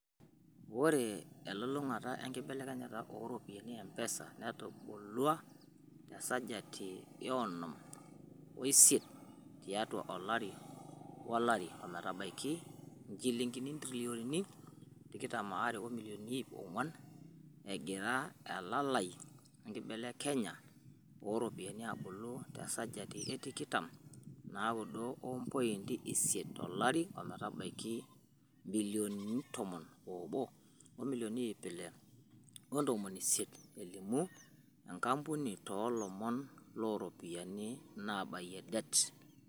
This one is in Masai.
"Ore enkilulung'a enkibelekenya o ropiyiani e M-Pesa netubulua te sajati e onom o isiet tiatu olari o lari ometabaiki injilingi intirioni tikitam are o milioni iip onguan, egira elalai e nkibelekenya o ropiyiani abulu te sajati e tikitam o naudo o mpointi isiet to lari o metabaiki ibilioni tomon obo o milioni iip ile o ntomoni isiet," Elimu enkampuni tolomon loo ropiyiani nabayia det.